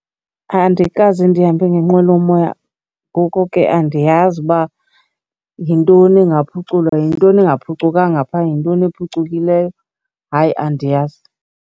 Andikaze ndihambe ngenqwelomoya ngoko ke andiyazi uba yintoni ingaphuculwa, yintoni engaphucukanga phaa, yintoni ephucukileyo. Hayi, andiyazi.